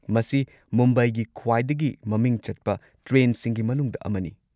ꯃꯁꯤ ꯃꯨꯝꯕꯥꯏꯒꯤ ꯈ꯭ꯋꯥꯏꯗꯒꯤ ꯃꯃꯤꯡ ꯆꯠꯄ ꯇ꯭ꯔꯦꯟꯁꯤꯡꯒꯤ ꯃꯅꯨꯡꯗ ꯑꯃꯅꯤ꯫